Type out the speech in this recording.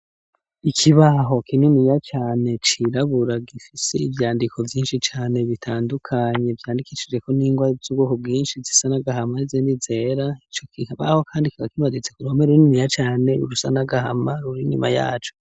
Ikibaho kininiya cane cirabura gifisi ivyandiko vyinshi cane bitandukanye vyandikishijeko n'ingwa z'ubwoko bwinshi zisa n'agahama n'izindi zera, ico kibaho kandi kikaba kimanitse ku ruhome runiniya cane rusa n'agahama ruri inyuma yaco.